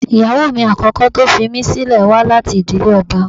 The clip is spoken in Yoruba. Ìyàwó mi àkọ́kọ́ tó fi mí sílẹ̀ wá láti ìdílé ọba